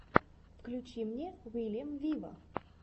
включи мне уильям виво